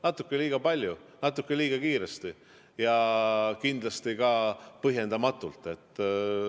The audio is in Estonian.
Natuke liiga palju, natuke liiga kiiresti ja kindlasti ka põhjendamatult.